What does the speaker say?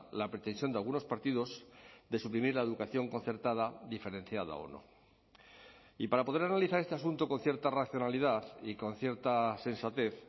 la pretensión de algunos partidos de suprimir la educación concertada diferenciada o no y para poder analizar este asunto con cierta racionalidad y con cierta sensatez